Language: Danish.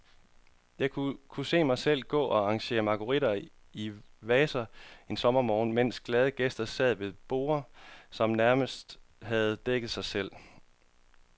Jeg kunne se mig selv gå og arrangere marguritter i vaser en sommermorgen, mens glade gæster sad ved borde, som nærmest havde dækket sig selv.